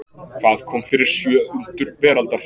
Hvað kom fyrir sjö undur veraldar?